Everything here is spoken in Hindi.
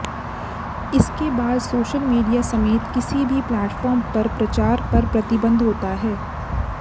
इसके बाद सोशल मीडिया समेत किसी भी प्लेटफ़ार्म पर प्रचार पर प्रतिबंध होता है